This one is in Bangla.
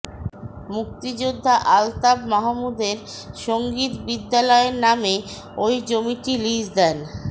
মুক্তিযোদ্ধা আলতাফ মাহমুদের সংগীত বিদ্যালয়ের নামে ওই জমিটি লিজ দেন